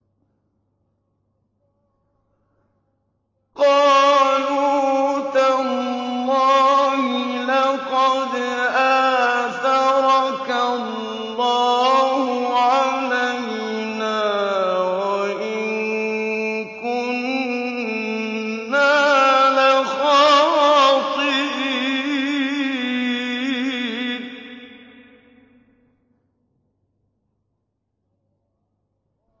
قَالُوا تَاللَّهِ لَقَدْ آثَرَكَ اللَّهُ عَلَيْنَا وَإِن كُنَّا لَخَاطِئِينَ